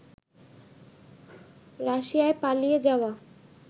রাশিয়ায় পালিয়ে যাওয়া